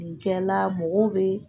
Nin kɛla mɔgɔw bɛ